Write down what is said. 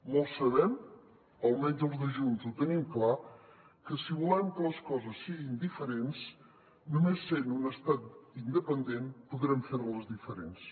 molts sabem almenys els de junts ho tenim clar que si volem que les coses siguin diferents només sent un estat independent podrem fer les diferents